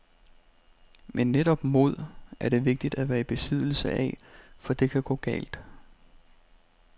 Men netop mod er det vigtigt at være i besiddelse af, for det kan gå galt.